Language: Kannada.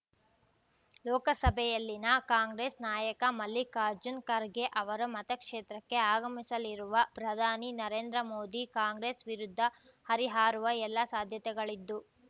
ಲೋಕಸಭೆಯಲ್ಲಿನ ಕಾಂಗ್ರೆಸ್ ನಾಯಕ ಮಲ್ಲಿಕಾರ್ಜುನ್ ಖರ್ಗೆ ಅವರ ಮತಕ್ಷೇತ್ರಕ್ಕೆ ಆಗಮಿಸಲಿರುವ ಪ್ರಧಾನಿ ನರೇಂದ್ರ ಮೋದಿ ಕಾಂಗ್ರೆಸ್ ವಿರುದ್ಧ ಹರಿಹಾರುವ ಎಲ್ಲಾ ಸಾಧ್ಯತೆಗಳಿದ್ದು